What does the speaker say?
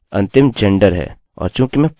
मानते हुए कि यह कार्य करेगा हम इसे रन कर सकते हैं